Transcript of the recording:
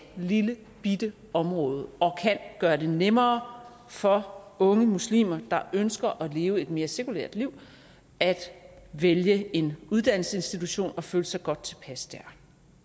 lillebitte område og kan gøre det nemmere for unge muslimer der ønsker at leve et mere sekulært liv at vælge en uddannelsesinstitution og føle sig godt tilpas der